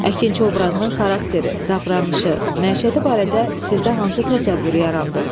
Əkinçi obrazının xarakteri, davranışı, məişəti barədə sizdə hansı təsəvvür yarandı?